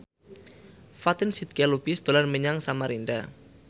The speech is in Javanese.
Fatin Shidqia Lubis dolan menyang Samarinda